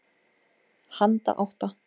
Handa átta